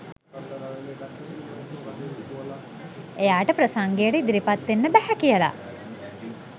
එයාට ප්‍රසංගයට ඉදිරිපත් වෙන්න බැහැ කියලා